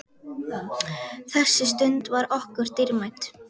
Þessi stund var okkur dýrmæt.